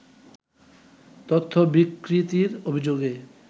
তথ্য বিকৃতির অভিযোগে